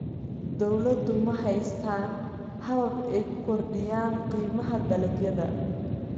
Beeraleydu ma haystaan ??habab ay ku kordhiyaan qiimaha dalagyada.